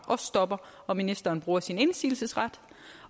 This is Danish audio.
stopper og ministeren bruger sin indsigelsesret